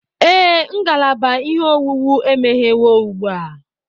Ee, ngalaba ihe owuwu emeghewo ugbu a